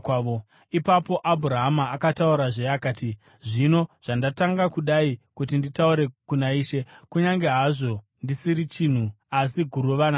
Ipapo Abhurahama akataurazve akati, “Zvino zvandatanga kudai kuti nditaure kuna Ishe, kunyange hazvo ndisiri chinhu asi guruva namadota,